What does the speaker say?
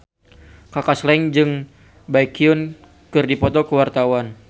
Kaka Slank jeung Baekhyun keur dipoto ku wartawan